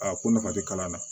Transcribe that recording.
Aa ko nafa tɛ kalan na